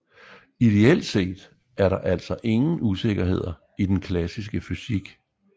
Ideelt set er der altså ingen usikkerheder i den klassiske fysik